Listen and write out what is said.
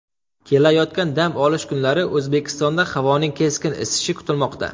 Kelayotgan dam olish kunlari O‘zbekistonda havoning keskin isishi kutilmoqda.